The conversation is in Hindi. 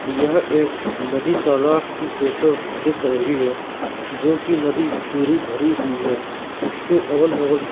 यह एक नदी तालाब की फोटो दिख रही है जो की नदी पूरी भरी हुई है इसके अगल बगल--